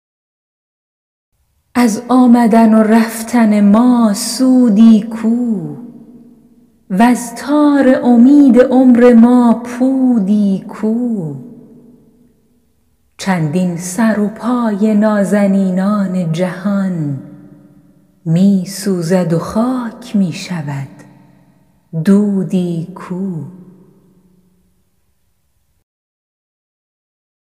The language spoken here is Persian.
از آمدن و رفتن ما سودی کو وز تار امید عمر ما پودی کو چندین سر و پای نازنینان جهان می سوزد و خاک می شود دودی کو